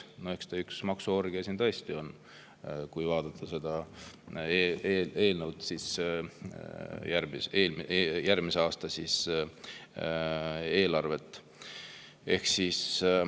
No eks ta ole tõesti üks maksuorgia, kui vaadata järgmise aasta eelarvet.